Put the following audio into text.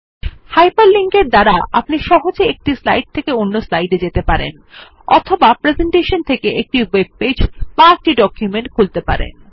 hyper link এর দ্বারা আপনি সহজে এক স্লাইড থেকে অন্য স্লাইড এ যেতে পারেন অথবা প্রেসেন্টেশন থেকে একটি ওয়েব পেজ বা একটি ডকুমেন্ট খুলতে পারবেন